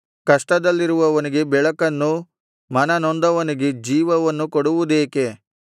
ಕಷ್ಟದಲ್ಲಿರುವವನಿಗೆ ಬೆಳಕನ್ನು ಮನನೊಂದವರಿಗೆ ಜೀವವನ್ನು ಕೊಡುವುದೇಕೆ